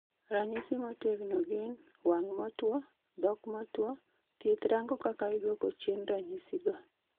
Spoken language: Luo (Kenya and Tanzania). ranyisi motegno gin: wang' motuo, dhok motuo, thieth rango kaka iduoko chien ranyisi go